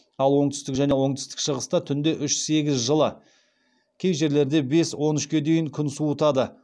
ал оңтүстік және оңтүстік шығыста түнде үш сегіз жылы кей жерлерде бес он үшке дейін күн суытады